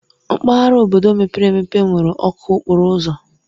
Mpaghara obodo mepere emepe nwere ọkụ okporo ụzọ.